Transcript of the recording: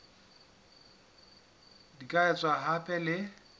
di ka etswa hape le